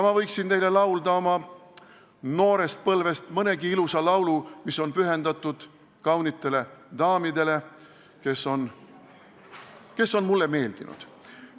Ma võiksin teile laulda oma noorpõlvest nii mõnegi ilusa laulu, mis on pühendatud kaunitele daamidele, kes on mulle meeldinud.